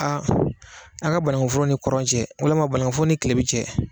A bɔn a ka bannkun foro ni kɔrɔn cɛ walima banakun foro ni tilebin cɛ.